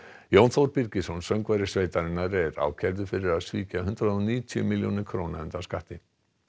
Jón Þór Birgisson söngvari sveitarinnar er ákærður fyrir að svíkja hundrað og níutíu milljónir króna undan skatti